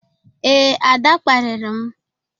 Ee, Ada kparịrị m.